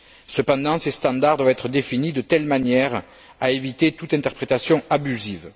Cependant, ces standards doivent être définis de telle manière à éviter toute interprétation abusive.